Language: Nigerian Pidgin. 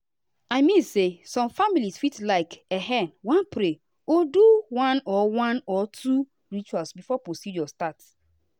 i mean say some families fit like[um]wan pray or do one or one or two rituals before procedure start.